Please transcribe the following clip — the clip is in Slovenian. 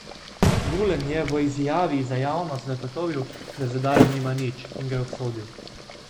Gulen je v izjavi za javnost zagotovil, da z udarom nima nič, in ga je obsodil.